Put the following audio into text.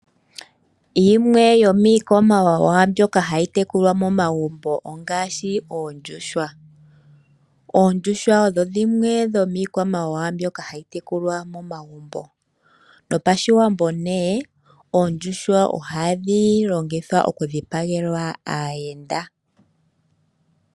Yimwe yomiikwamawawa mbyoka hayi tekulwa momagumbo ongaashi oondjuhwa. Oondjuhwa odho dhimwe dhomiikwamawawa mbyoka hayi tekulwa momagumbo. No pashiwambo nee oondjuhwa ohadhi longithwa okudhipagelwa aayenda.